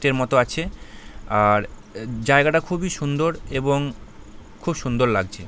তের মতো আছে আর জায়গাটা খুবই সুন্দর এবং খুব সুন্দর লাগছে ।